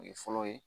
O ye fɔlɔ ye